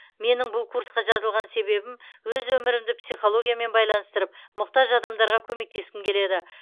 менің бұл курсқа жазылған себебім өз өмірімді психологиямен байланыстырып мұқтаж адамдарға көмектескім келеді